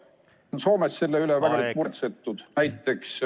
Härra Poolamets, teie aeg!